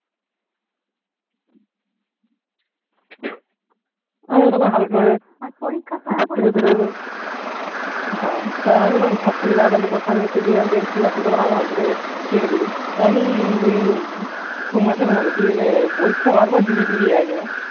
আমিও হালকা করে রাত্তিরে বেরোলো হ্যা তো আমি ঘর থেকে জামা Pant টা পরে Function দেখতে বেরোচ্ছি রাত্রে বেলা নাইমকে হালকা করে ছেড়ে দিলুম। খালি সমাজের মত পরিক্ষা বারবার দিলে দিবি একবার।